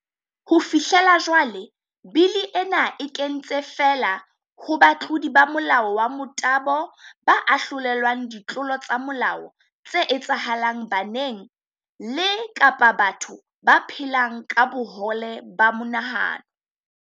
Ho fihlela jwale, bili ena e kentse feela ho batlodi ba molao wa motabo ba ahlolelwang ditlolo tsa molao tse etsahalang baneng le kapa bathong ba phelang ka bohole ba monahano.